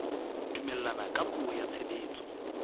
dumellana ka puo ya tshebetso